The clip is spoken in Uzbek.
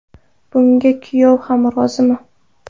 Bunga kuyov ham rozimi?